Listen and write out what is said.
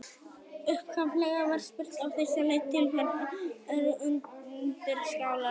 Upphaflega var spurt á þessa leið: Til hvers eru undirskálar?